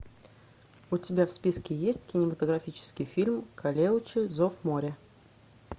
у тебя в списке есть кинематографический фильм калеуче зов моря